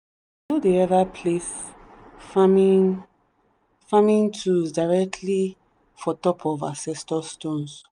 we no dey ever place farming farming tools directly for top of ancestor stones.